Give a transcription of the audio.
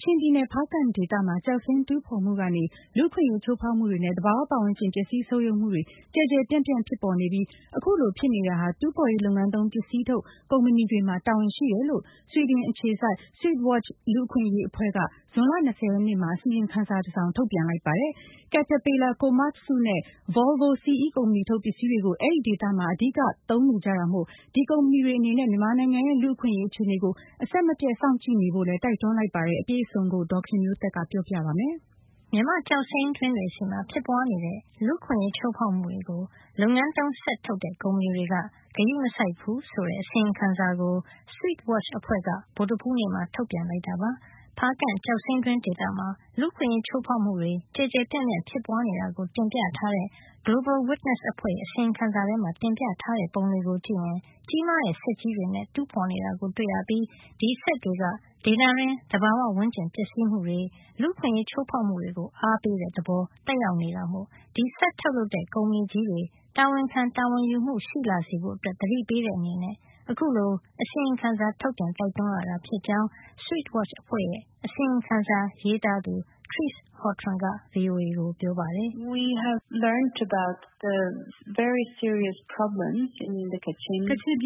ချင်ပြည်နယ် ဖားကန့်ဒေသမှာ ကျောက်စိမ်းတူးဖေါ်မှုကနေ လူ့အခွင့်ရေးချိုးဖေါက်မှုတွေနဲ့ သဘာဝဝန်းကျင် ပျက်စီးဆုတ်ယုတ်မှု တွေကျယ်ကျယ်ပြန့်ပြန့် ဖြစ်ပေါ်နေပြီး အခုလိုဖြစ်နေတာဟာ တူးဖေါ်ရေးလုပ်ငန်းသုံး ပစ္စည်းထုတ် ကုမ္ပဏီတွေမှာ တာဝန်ရှိတယ်လို့ ဆွီဒင်အခြေစိုက် Swedwatch လူ့အခွင့်ရေးအဖွဲ့က ဇွန်လ ၂၀ ရက်နေ့မှာ အစီရင်ခံစာ တစောင်ထုတ်ပြန်လိုက်ပါတယ်။ Caterpillar ၊ Komatsu နဲ့ Volvo CE ကုမ္ပဏီထုတ် ပစ္စည်းတွေကို အဲဒီဒေသမှာ အဓိကသုံးနေကြတာမို့ ဒီကုမ္ပဏီတွေ အနေနဲ့ မြန်မာနိုင်ငံရဲ့ လူ့အခွင့်ရေးအခြေနေကို အဆက်မပြတ်စောင့်ကြည့်ဖို့လည်း တိုက်တွန်းလိုက်ပါတယ်။ အပြည့်အစုံကို ဒေါ်ခင်မျိုးသက်က ပြောပြပေးမှာပါ။ “မြန်မာ့ကျောက်စိမ်းတွင်းရဲ့ လူ့အခွင့်ရေးချိုးဖေါက်မှုတွေကို လုပ်ငန်းသုံးစက်ထုတ်တဲ့ ကုမ္ပဏီတွေက ဂရုမစိုက်ဘူး” - Machinery Providers Fail to Recognize HR Risks in Mynamar’s Jade Mines ဆိုတဲ့အစီရင်ခံစာကို Swedwatch အဖွဲ့က ဗုဒ္ဓဟူးနေ့မှာ ထုတ်ပြန်လိုက်တာပါ။ ဖားကန့်ကျောက်စိမ်းတွင်းဒေသမှာ လူ့အခွင့်ရေးချိုးဖေါက်မှုတွေ ကျယ်ကျယ်ပြန့်ပြန့်ဖြစ်ပွါးနေတာကို တင်ပြထားတဲ့ Global Witness အဖွဲ့ရဲ့ အစီရင်ခံစာထဲမှာ တင်ပြထားတဲ့ပုံတွေကို ကြည့်ရင် ကြီးမားတဲ့စက်ကြီးတွေနဲ့ တူးဖေါ်နေတာကို တွေ့ရပြီး ဒီစက်တွေက ဒေသတွင်း သဘာဝပတ်ဝန်းကျင် ပျက်စီးမှုတွေ လူ့အခွင့်ရေးချိုးဖေါက်မှုတွေကို အားပေးတဲ့ သဘောသက်ရောက် နေတာမို့ ဒီစက်ထုတ်လုပ်တဲ့ ကုမ္ပဏီကြီးတွေ တာဝန်ခံ တာဝန်ယူမှု ရှိလာစေဖို့ သတိပေးတဲ့ အနေနဲ့ အခုလို အစီရင်ခံစာ ထုတ်ပြန်ပြီး တိုက်တွန်းရတာ ဖြစ်ကြောင်း Swedwatch အဖွဲ့ရဲ့ အစီရင်ခံစာ ရေးသားသူ Therese Sjostrom က VOA ကိုပြောပါတယ်။ "ကချင်ပြည